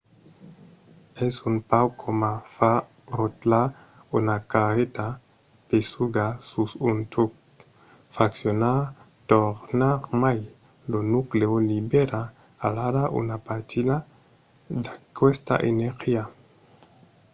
es un pauc coma far rotlar una carreta pesuga sus un tuc. fraccionar tornarmai lo nuclèu libèra alara una partida d'aquesta energia